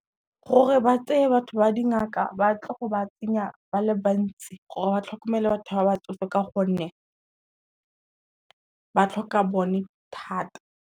Gore ba tseye batho ba dingaka ba tle go ba tsenya ba le bantsi gore ba tlhokomele batho ba batsofe ka gonne, ba tlhoka bone thata.